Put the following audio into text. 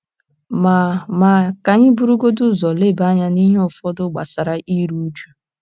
* Ma * Ma, ka anyị burugodị ụzọ leba anya n’ihe ụfọdụ gbasara iru uju.